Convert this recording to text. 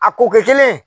A ko kɛ kelen ye